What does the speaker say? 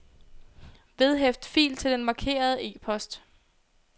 Vedhæft fil til den markerede e-post.